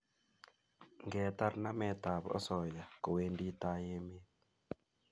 Ngetar nametab osoya kowendi tai emet